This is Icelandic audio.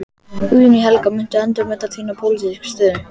Guðný Helga: Muntu endurmeta þína pólitísku stöðu?